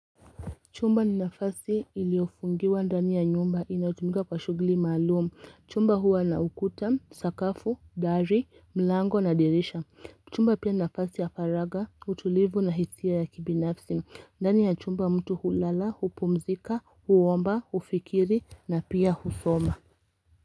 Chumba ni nafasi iliofungiwa ndani ya nyumba inautumika kwa shugli malumu. Chumba huwa na ukuta, sakafu, dari, mlango na dirisha. Chumba pia nafasi ya faraga, utulivu na hisia ya kibinafsi. Ndani ya chumba mtu hulala, hupumzika, huwomba, ufikiri na pia husoma.